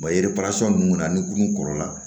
ninnu kɔni na ni kurun kɔrɔla